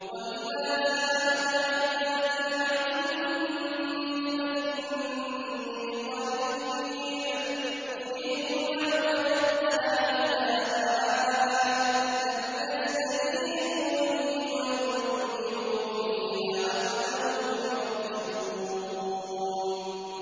وَإِذَا سَأَلَكَ عِبَادِي عَنِّي فَإِنِّي قَرِيبٌ ۖ أُجِيبُ دَعْوَةَ الدَّاعِ إِذَا دَعَانِ ۖ فَلْيَسْتَجِيبُوا لِي وَلْيُؤْمِنُوا بِي لَعَلَّهُمْ يَرْشُدُونَ